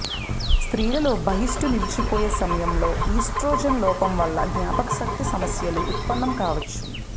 స్త్రీలలో బహిష్టు నిలిచిపోయే సమయంలో ఈస్ట్రో జెన్ లోపం వలన జ్ఞాపక శక్తి సమస్యలు ఉత్పన్నం కావచ్చు